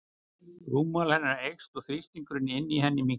Rúmmál hennar eykst og þrýstingur inni í henni minnkar.